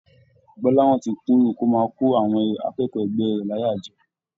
Gbolahan tí kúndùn kó máa kọ àwọn akẹ́kọ̀ọ́ ẹgbẹ rẹ láyà jẹ.